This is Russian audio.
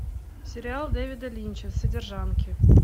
сериал дэвида линча содержанки